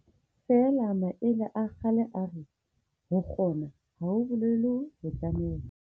Feela maele a kgale a re, ho kgona, ha ho bolele ho tlameha.